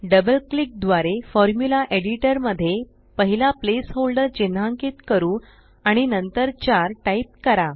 double click द्वारे formula editor मध्ये पहिला प्लेस होल्डर चिन्हांकित करू आणि नंतर 4टाइप करा